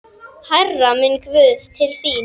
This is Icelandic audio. Hærra, minn guð, til þín.